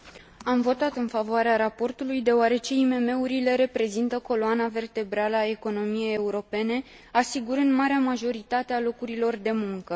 Am votat în favoarea raportului, deoarece IMM urile reprezintă coloana vertebrală a economiei europene, asigurând marea majoritate a locurilor de muncă.